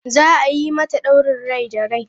Za a yi mata daurin rai da rai.